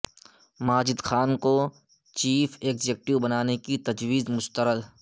ماجد خان کو chief executive بنانے کی تجویز مسترد